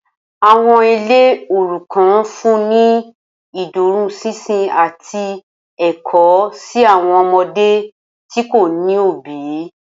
Awọn ile orukan nfunni ni iduroṣinṣin ati ẹkọ si awọn ọmọde ti ko ni obi.